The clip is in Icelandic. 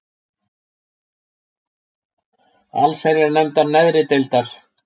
allsherjarnefndar neðri deildar.